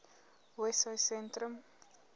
wessosentrum